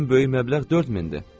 Ən böyük məbləğ 4000-dir.